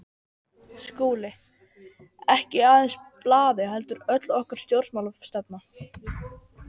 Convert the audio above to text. SKÚLI: Ekki aðeins blaðið heldur öll okkar stjórnmálastefna.